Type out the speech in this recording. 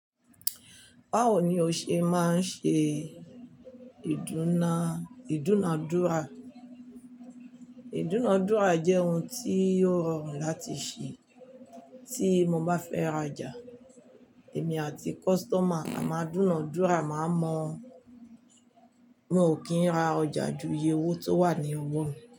Báwo ni o ṣe máa ń ṣe ìdúnàdúrà? Ìdúnàdúrà jẹ́ ohun tí yóò rọrùn láti ṣe tí mo bá fẹ́ ra ọjà. Èmi àti kọ́sítọ́mà a máa dúnàdúrà, màá mo, mi ò kí n ra ọjà ju iye owó tó wà ní ọwọ́ mi.